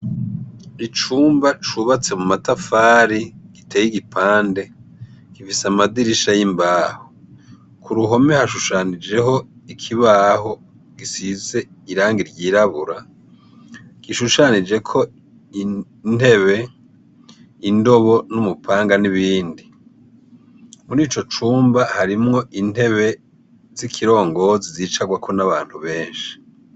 Icumba cubatse mu matafari giteye igipande gifise amadirisha y'imbaho, ku ruhome hashushanijeho ikibaho gisize irang’iryirabura, gishushanijeko intebe indobo n'umupanga n'ibindi muri ico cumba harimwo intebe z'ikirongo zizicarwako n'abantu benshi.